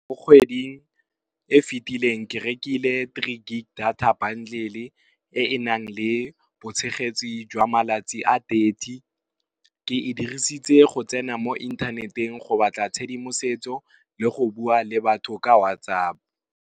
Mo kgweding e fetileng ke rekile three gig data bandlele e e nang le boitshegetsi jwa malatsi a thirty, ke e dirisitse go tsena mo inthaneteng go batla tshedimosetso le go bua le batho ka whatsApp.